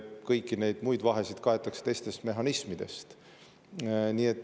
Kõiki neid muid vahesid kaetakse teistest mehhanismidest.